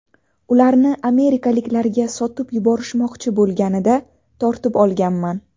Ularni amerikaliklarga sotib yuborishmoqchi bo‘lganida tortib olganman.